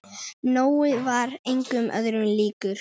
Nói var engum öðrum líkur.